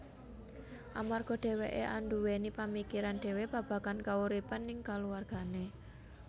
Amarga dhewekké anduweni pamikiran dhewe babagan kauripan ning kaluwargané